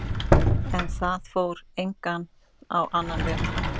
En það fór einnig á annan veg.